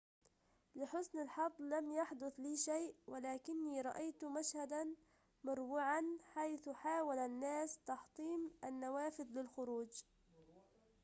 لحسن الحظ لم يحدث لي شيء ولكني رأيت مشهدًا مروعًا حيث حاول الناس تحطيم النوافذ للخروج